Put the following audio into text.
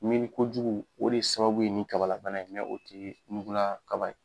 Miiri kojugu o de sababu ye ni kabalabana ye mɛ o tɛ ɲugulakaba ye.